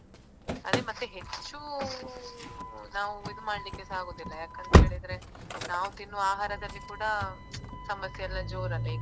ಅದೇ ಮತ್ತೆ ಹೆಚ್ಚು ನಾವ್ ಇದ್ ಮಾಡ್ಲಿಕ್ಕೆಸಾ ಆಗುದಿಲ್ಲ ಯಾಕಂತೇಳಿದ್ರೆ ನಾವ್ ತಿನ್ನುವ ಆಹಾರದಲ್ಲಿ ಕೂಡ ಸಮಸ್ಯೆಯೆಲ್ಲ ಜೋರಲ್ಲ ಈಗ.